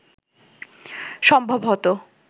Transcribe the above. সম্ভব হতো